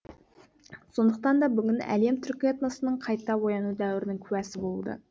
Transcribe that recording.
сондықтан да бүгін әлем түркі этносының қайта ояну дәуірінің куәсі болуда